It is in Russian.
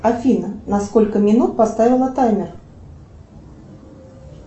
афина на сколько минут поставила таймер